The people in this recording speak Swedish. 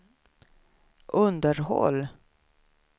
underhåll